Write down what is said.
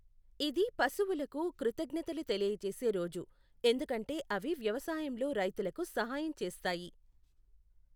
ఇది పశువులకు కృతజ్ఞతలు తెలియజేసే రోజు, ఎందుకంటే అవి వ్యవసాయంలో రైతులకు సహాయం చేస్తాయి.